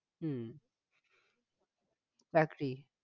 হম একটি